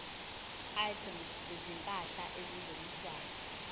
items zezimpahla ezingeniswayo